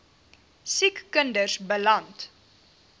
siek kinders beland